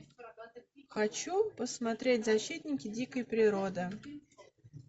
хочу посмотреть защитники дикой природы